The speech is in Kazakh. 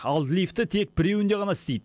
ал лифті тек біреуінде ғана істейді